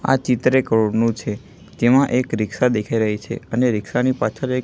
આ ચિત્ર એક રોડ નું છે જેમાં એક રીક્ષા દેખાઈ રહી છે અને રીક્ષા ની પાછળ એક--